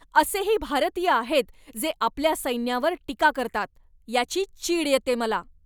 असेही भारतीय आहेत जे आपल्या सैन्यावर टीका करतात याची चीड येते मला.